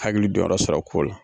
Hakili don yɔrɔ sɔrɔ o ko la.